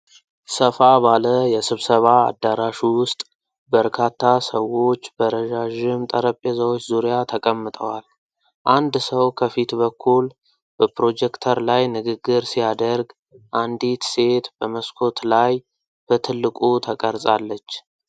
ሰፋ ባለ የስብሰባ አዳራሽ ውስጥ በርካታ ሰዎች በረዣዥም ጠረጴዛዎች ዙሪያ ተቀምጠዋል። አንድ ሰው ከፊት በኩል በፕሮጀክተር ላይ ንግግር ሲያደርግ፣ አንዲት ሴት በመስኮት ላይ በትልቁ ተቀርጻለች።